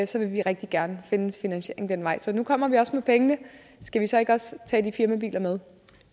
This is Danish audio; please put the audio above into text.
så vil vi rigtig gerne finde en finansiering den vej så nu kommer vi også med pengene skal vi så ikke også tage de firmabiler med